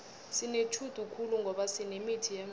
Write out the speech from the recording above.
sinetjhudu khulu ngoba sinemithi yemvelo